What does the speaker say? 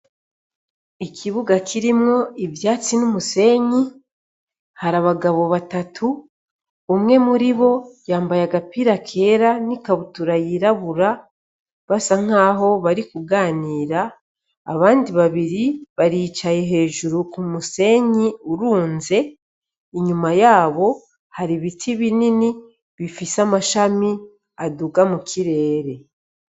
Ikibuga kirimwo ivyatsi n'umusinyi, harabagabo batatu umwe muribo yambaye agapira kera n'ikabutura yirabura, basa nkaho barikuganira baricaye hejuru k'umusenyi urunze, inyuma yabo har'ibiti binini bifise amashami aduga mukirere.